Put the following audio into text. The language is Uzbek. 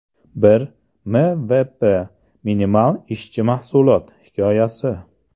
Bir MVP (minimal ishchi mahsulot) hikoyasi.